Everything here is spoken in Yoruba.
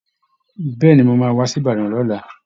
Bẹ́ẹ̀ ni, mo máa wá sí Ìbàdàn lọ́la